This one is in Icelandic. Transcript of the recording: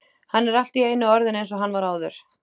Hann er allt í einu orðinn eins og hann var áður.